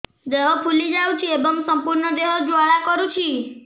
ଦେହ ଫୁଲି ଯାଉଛି ଏବଂ ସମ୍ପୂର୍ଣ୍ଣ ଦେହ ଜ୍ୱାଳା କରୁଛି